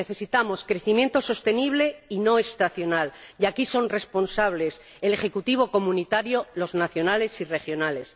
necesitamos crecimiento sostenible y no estacional, y aquí son responsables el ejecutivo comunitario, los nacionales y los regionales.